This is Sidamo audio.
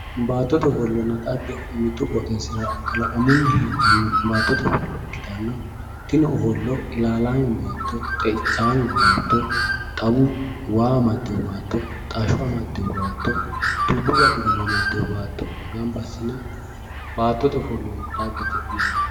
Baattote ofollana dhagge mitu qooxxeesira kalaqamunni heedhano baattote ofollo ikkittanna tini ofollo ilalame baatto, xeichame baatto, xawu waa amadino baatto ,xasho amadino baatto dubbu gaxigalla amadino baatto gamba assine baattote ofollonna dhagge yinanni.